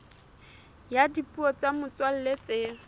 ya dipuo tsa motswalla tse